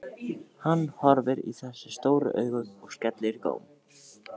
Hann horfir í þessi stóru augu og skellir í góm.